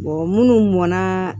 munnu mɔn na